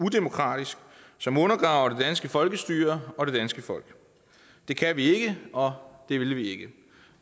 som undergraver det danske folkestyre og det danske folk det kan vi ikke og det vil vi ikke